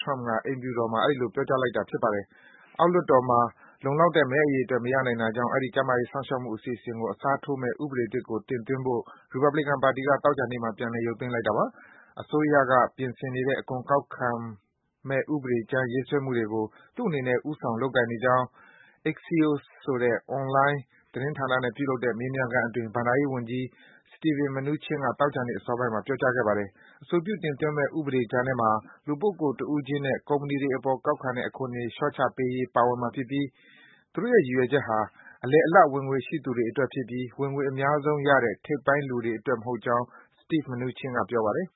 Trump အိမ်ဖြူတော်မှာ အဲဒီလို ပြောကြားလိုက်တာပါ။ အောက်လွှတ်တော်မှာ လုံလောက်တဲ့ မဲအရေအတွက် မရနိုင်တာကြောင့် အဲဒီ ကျန်းမာရေး စောင့်ရှောက်မှု အစီအစဉ်ကို အစားထိုးမယ့် ဥပဒေသစ်ကို တင်သွင်းဖို့ ရီပတ်ဘလီကန် ပါတီဝင်တွေက သောကြာနေ့မှာ ပြန်လည် ရုပ်သိမ်းလိုက်တာ ဖြစ်ပါတယ်။ အစိုးရက ပြင်ဆင်နေတဲ့ အခွန်ကောက်ခံမှု ပြင်ဆင်မယ့် ဥပဒေကြမ်း ရေးဆွဲနေမှုတွေကို သူ့အနေနဲ့ ဦးဆောင် လုပ်ကိုင်နေကြောင်း Axios ဆိုတဲ့ အွန်လိုင်း သတင်းဌာနနဲ့ ပြုလုပ်တဲ့ မေးမြန်းခန်းအတွင်း ဘဏ္ဍာရေးဝန်ကြီး Steven Mnuchin က သောကြာနေ့ အစောပိုင်းမှာပြောကြားခဲ့ပါတယ်။ အဆိုပြု တင်သွင်းမယ့် ဥပဒေကြမ်းထဲမှာ လူပုဂ္ဂိုလ် တဦးချင်းနဲ့ ကုမ္ပဏီတွေအပေါ် ကောက်ခံတဲ့ အခွန်တွေ လျော့ချပေးရေး ပါဝင်မှာ ဖြစ်ပြီး သူတို့ရဲ့ ရည်ရွယ်ချက်ဟာ အလယ်အလတ် ဝင်ငွေရှိသူတွေအတွက်ဖြစ်ပြီး ဝင်ငွေ အများဆုံးရတဲ့ ထိပ်ပိုင်းလူတွေအတွက် မဟုတ်ကြောင်း Steve Mnuchin က ပြောပါတယ်